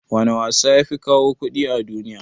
wana wasa yafi kawo kuɗi a duniya?